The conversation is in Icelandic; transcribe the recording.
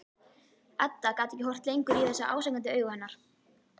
Edda gat ekki horft lengur í þessi ásakandi augu hennar.